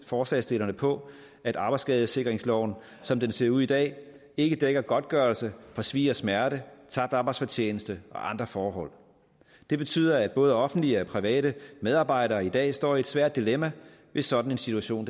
forslagsstillerne på at arbejdsskadesikringsloven som den ser ud i dag ikke dækker godtgørelse for svie og smerte tabt arbejdsfortjeneste og andre forhold det betyder at både offentlige og private medarbejdere i dag står i et svært dilemma hvis sådan en situation